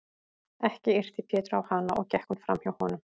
Ekki yrti Pétur á hana og gekk hún fram hjá honum.